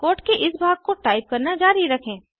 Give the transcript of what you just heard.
code के इस भाग को टाइप करना जारी रखें